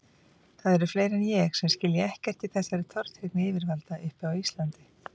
Það eru fleiri en ég sem skilja ekkert í þessari tortryggni yfirvalda uppi á Íslandi.